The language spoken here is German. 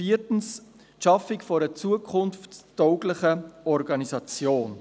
viertens, die Schaffung einer zukunftstauglichen Organisation.